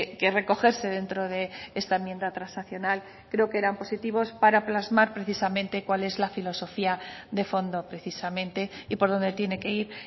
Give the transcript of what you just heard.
que recogerse dentro de esta enmienda transaccional creo que eran positivos para plasmar precisamente cual es la filosofía de fondo precisamente y por donde tiene que ir